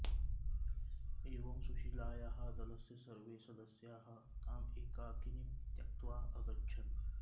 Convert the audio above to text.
एवं सुशीलायाः दलस्य सर्वे सदस्याः ताम् एकाकिनीं त्यक्त्वा अगच्छन्